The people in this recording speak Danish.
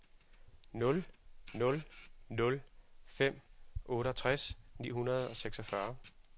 nul nul nul fem otteogtres ni hundrede og seksogfyrre